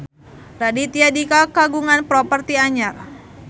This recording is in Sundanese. Raditya Dika kagungan properti anyar